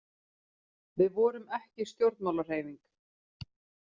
Við vorum ekki stjórnmálahreyfing.